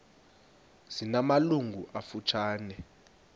zina malungu amafutshane